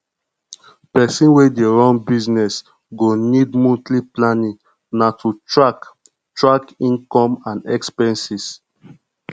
pesin wey dey run business go need monthly planning na to track track income and expenses